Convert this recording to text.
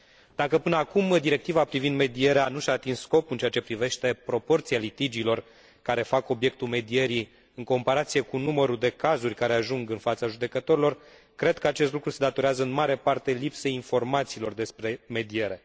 Dacă, până acum, Directiva privind medierea nu și a atins scopul în ceea ce privește proporția litigiilor care fac obiectul medierii în comparație cu numărul de cazuri care ajung în fața judecătorilor, cred că acest lucru se datorează în mare parte lipsei informațiilor despre mediere.